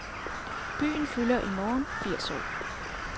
Byen, fylder i morgen firs år.